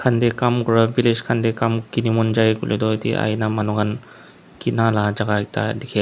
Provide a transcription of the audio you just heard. kam kura village khan deh kam kini mon jai kuileh du yete aina manu an kina la jaga ekta dikhey--